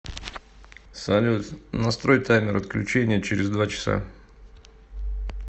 салют настрой таймер отключения через два часа